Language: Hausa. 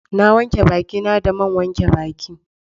Na wanke baki na da man wanke baki